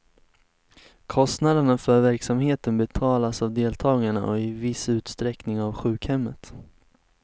Kostnaderna för verksamheten betalas av deltagarna och i viss utsträckning av sjukhemmet.